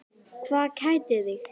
Hvað kætir þig?